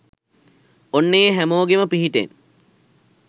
ඔන්න ඒ හැමෝගෙම පිහිටෙන්